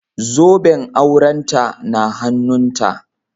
Zoben aurenta na hannunta